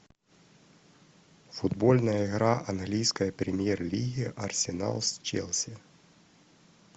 футбольная игра английской премьер лиги арсенал с челси